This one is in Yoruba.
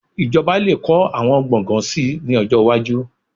Ìjọba lè kọ́ àwọn gbọ̀ngàn síi ní ọjọ́ iwájú